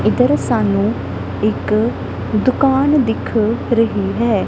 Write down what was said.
ਇੱਧਰ ਸਾਨੂੰ ਇੱਕ ਦੁਕਾਨ ਦਿੱਖ ਰਹੀ ਹੈ।